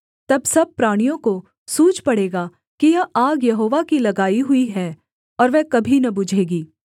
तब सब प्राणियों को सूझ पड़ेगा कि यह आग यहोवा की लगाई हुई है और वह कभी न बुझेगी